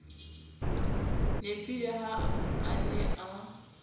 nepile ha a ne a